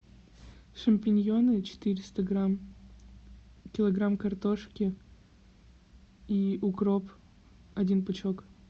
шампиньоны четыреста грамм килограмм картошки и укроп один пучок